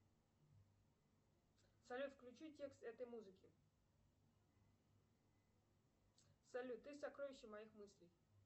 салют включи текст этой музыки салют ты сокровище моих мыслей